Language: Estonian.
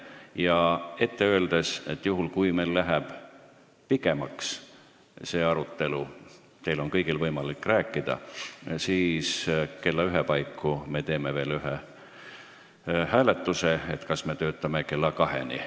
Ja ütlen ette, et juhul, kui see arutelu läheb pikemaks – teil kõigil on võimalik rääkida –, siis me teeme kella ühe paiku veel ühe hääletuse, kas me töötame kella kaheni.